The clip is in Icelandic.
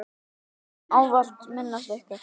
Við munum ávallt minnast ykkar.